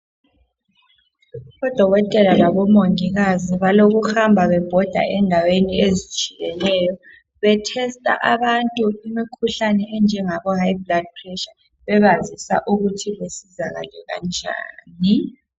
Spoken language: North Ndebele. Odokotela labomongikazi balokuhamba bebhoda endaweni ezitshiyeneyo betesta abantu imkhuhlane enjengabo high blood pressure bebasizisa ukuthi besizakale kanjani.